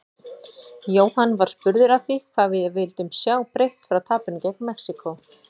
Jóhann var spurður að því hvað við vildum sjá breytt frá tapinu gegn Mexíkó?